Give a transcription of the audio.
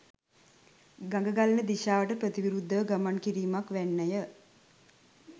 ගඟ ගලන දිශාවට ප්‍රතිවිරුද්ධව ගමන් කිරීමක් වැන්නය.